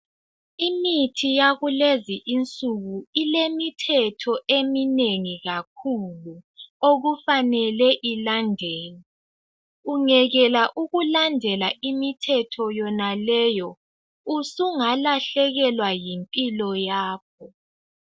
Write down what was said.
Imithi yakulezi insuku ilemithetho eminengi kakhulu okufanele ilandelwe. Ungekela ukulandela imithetho yonaleyo usungalahlekelwa yimpilo yakho.